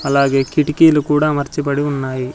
అలాగే కిటికీలు కూడా అమర్చబడి ఉన్నాయి.